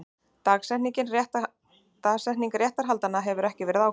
Dagsetning réttarhaldanna hefur ekki verið ákveðin